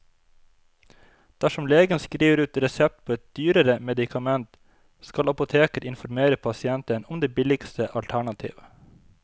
Dersom legen skriver ut resept på et dyrere medikament, skal apoteket informere pasienten om det billigste alternativ.